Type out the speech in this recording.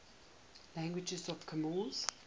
languages of comoros